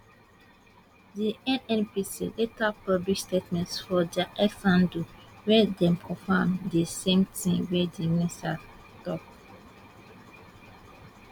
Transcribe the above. di nnpc later publish statement for dia X handle wia dem confam di same tin wey di minister tok